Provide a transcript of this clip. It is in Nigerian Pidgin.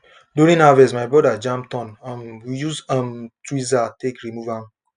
during harvest my brother jam thorn um we use um tweezer take remove am